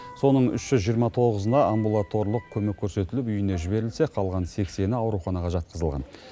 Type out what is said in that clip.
соның үш жүз жиырма тоғызына амбулаторлық көмек көрсетіліп үйіне жіберілсе қалған сексені ауруханаға жатқызылған